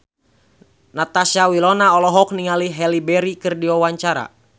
Natasha Wilona olohok ningali Halle Berry keur diwawancara